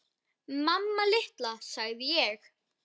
Mamma litla, sagði ég.